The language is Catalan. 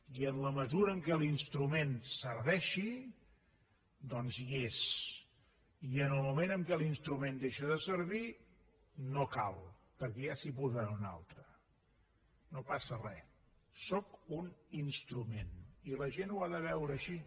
i en la mesura que l’instrument serveixi doncs hi és i en el moment que l’instrument deixa de servir no cal perquè ja s’hi posarà un altre no passa res sóc un instrument i la gent ho ha de veure així